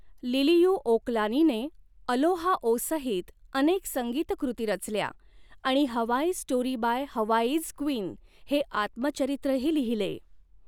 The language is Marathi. लिलिउओकलानीने अलोहा ओ सहित अनेक संगीतकृती रचल्या आणि Hawaii's story by Hawaii's queen हे आत्मचरित्रही लिहिले.